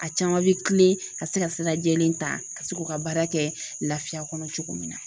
A caman be tilen ka se ka sira lajɛlen ta, ka se k'u ka baara kɛ lafiya kɔnɔ cogo min na.